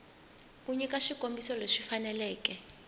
u nyika swikombiso leswi faneleke